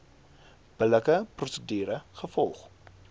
billike prosedure gevolg